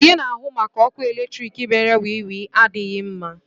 Onye na-ahụ maka ọkụ eletrik mere wiwi adịghị mma.